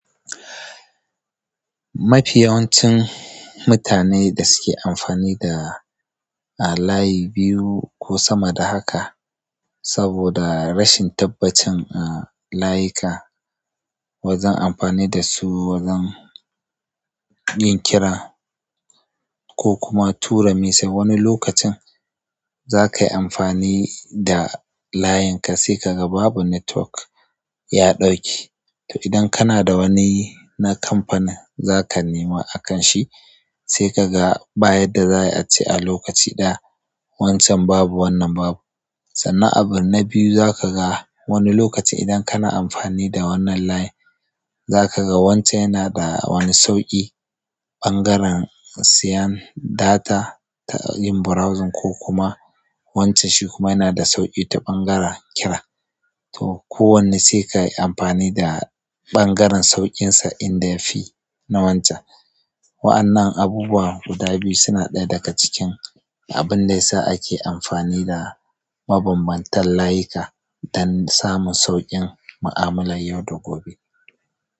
Mafi yawancin mutane da suke amfani da a layi biyu ko sama da haka saboda rashin tabbacin a, layika. Wajan amfani da su wajan yin kira ko kuma tura message. Wani lokacin zakayi amfani da layin ka sai kaga babu network, ya ɗauke. To idan kana da wani na kamfani zaka nema akan shi sai kaga baya da zaya a ce a lokaci ɗaya. Wancan babu wannan babu. Sannan abun na biyu zaka ga wani lokaci idan kana amfani da wannan layin zakaga wancan yana da wani sauƙi ɓangaren siyan data ta yin browsing ko kuma wancan shi kuma yana da sauƙi ta ɓangaren kira. To kowanne sai kayi amfani da ɓangaren saukinsa inda yafi na wancan. Wa'annan abubuwa guda biyu suna ɗaya daga cikin abun da yasa ake amfani da mabambantan layika don samun sauƙin ma'amalar yau da gobe.